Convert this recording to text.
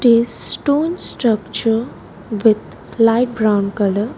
This stone structure with light brown colour.